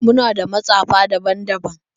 Muna da matsefa daban-daban